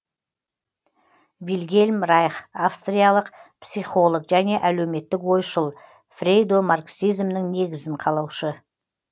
вильгельм райх австриялық психолог және әлеуметтік ойшыл фрейдо марксизмнің негізін салушы